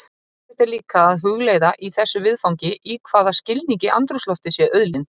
Fróðlegt er líka að hugleiða í þessu viðfangi í hvaða skilningi andrúmsloftið sé auðlind.